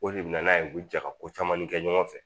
O de bɛ na n'a ye u bɛ jɛ ka ko caman kɛ ɲɔgɔn fɛ